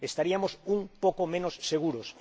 Estaríamos un poco menos seguros.